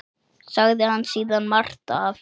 Sagði hann síðan margt af